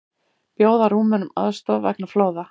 Bjóða Rúmenum aðstoð vegna flóða